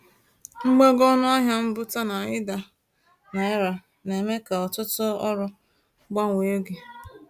Mgbago ọnụ ahịa mbubata na ida naira na-eme ka ọtụtụ ọrụ gbanwee oge.